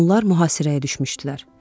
Onlar mühasirəyə düşmüşdülər.